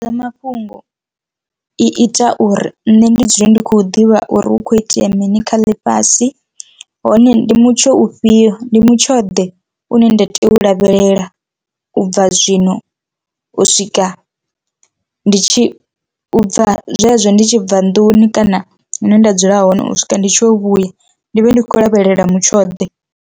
Mafhungo i ita uri nṋe ndi dzula ndi khou ḓivha uri hu kho itea mini kha ḽifhasi hone ndi mutsho ufhio ndi mutsho ḓe une nda tea u lavhelela ubva zwino u swika ndi tshi bva zwezwo ndi tshi bva nḓuni kana hune nda dzula hone u swika ndi tshi yo vhuya ndi vhe ndi khou lavhelela mutsho ḓe.